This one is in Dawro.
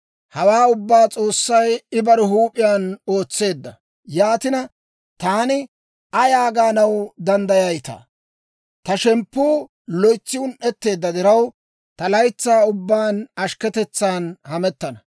Hawaa ubbaa S'oossay I bare huup'iyaan ootseedda; yaatina, taani ayaa gaanaw danddayayitaa? Ta shemppuu loytsi un"etteedda diraw, ta laytsaa ubbaan ashkketetsaan hamettana.